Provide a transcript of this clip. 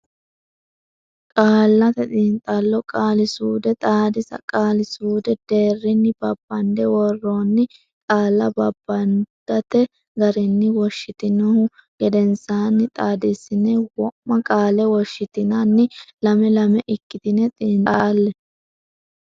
Qaallate Xiinxallo Qaali suude Xaadisa qaali suudu deerrinni babbande worroonni qaalla babbadante garinni woshshitinihu gedensaanni xaadissine wo ma qaale woshshitinanni lame lame ikkitine xiinxalle.